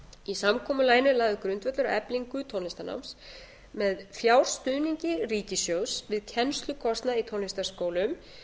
í samkomulaginu er lagður grundvöllur að eflingu tónlistarnáms með fjárstuðningi ríkissjóðs við kennslukostnað í tónlistarskólum